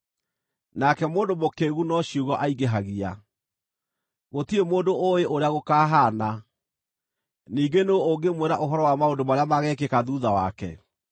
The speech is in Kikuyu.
nake mũndũ mũkĩĩgu no ciugo aingĩhagia. Gũtirĩ mũndũ ũũĩ ũrĩa gũkaahaana, ningĩ nũũ ũngĩmwĩra ũhoro wa maũndũ marĩa mageekĩka thuutha wake?